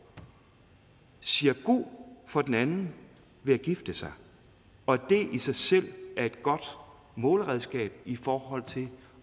siger god for den anden ved at gifte sig og det i sig selv er et godt målredskab i forhold til